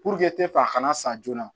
tɛ f'a kana san joona